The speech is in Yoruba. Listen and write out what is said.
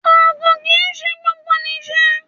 Ògùn kì ń ṣe gbogbo nì ṣe.